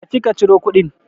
Tafi ka ciro kuɗin.